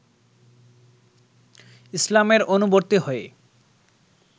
ইসলামের অনুবর্তী হয়ে